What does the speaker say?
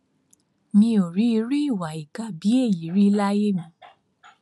mi ò rí irú ìwà ìkà bíi èyí rí láyé mi